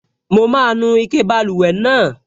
Mo máa nu ike báluwẹ̀ náà